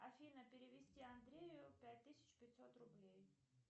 афина перевести андрею пять тысяч пятьсот рублей